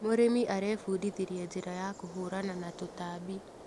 Mũrĩmi arebundithirie njĩra ya kũhũrana na tũtambi.